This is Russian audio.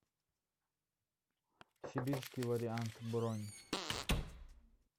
сибирский вариант бронь